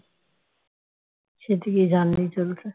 সেটিকে জানলেই চলছে